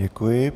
Děkuji.